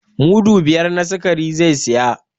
Mudu biyar na sikari zai saya.